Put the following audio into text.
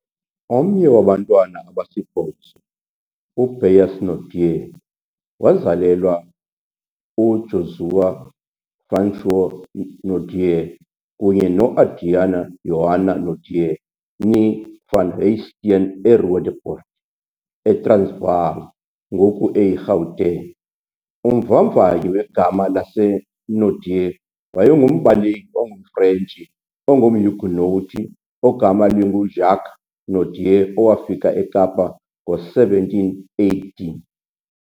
Omnye wabantwana abasibhozo, uBeyers Naudé wazalelwa uJozua François Naudé kunye noAdriana Johanna Naudé, née, van Huyssteen eRoodepoort, eTransvaal, ngoku eyiGauteng. Umvavanyi wegama laseNaudé wayengumbaleki ongumFrentshi ongumHuguenot ogama linguJacques Naudé owafika eKapa ngo-1718.